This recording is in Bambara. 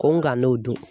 Ko n ka n'o dun